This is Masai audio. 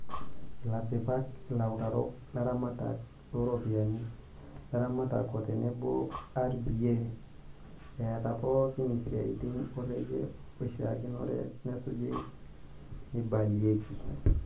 Ilasipak, ilautarok, laramatak looropiyiani, laramatak o tenebo RBA etaa pooki isiatin orekai oshiakinore nesuj neibaliaki.